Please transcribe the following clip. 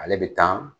Ale bɛ taa